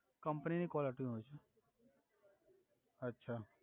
company ની caller tune હોય છે અછા